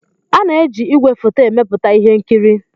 A na-eji ígwèfoto emepụta ihe nkiri.